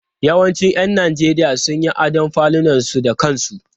Yawancin 'yan Najeriya sun yi adon falunansu da kansu.